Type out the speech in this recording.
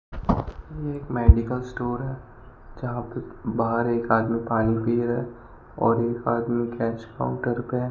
ये एक medical store है जहां पे बाहर एक आदमी पानी पी रहा और एक आदमी कैश काउंटर पे है।